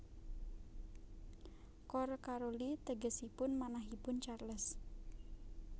Cor Caroli tegesipun manahipun Charles